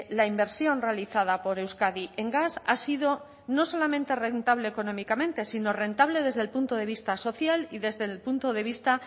la inversión realizada por euskadi en gas ha sido no solamente rentable económicamente sino rentable desde el punto de vista social y desde el punto de vista